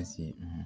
Ka se